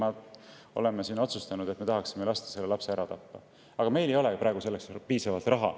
Me oleme siin otsustanud, et me tahaksime lasta selle lapse ära tappa, aga meil ei ole praegu selleks piisavalt raha.